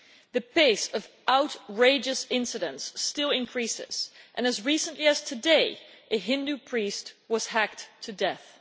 The pace of outrageous incidents still increases, and as recently as today, a Hindu priest was hacked to death.